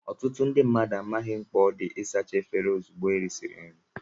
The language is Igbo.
Ọtụtụ ndị mmadụ amaghị mkpa ọ dị ịsacha efere ozugbo ha risiri nri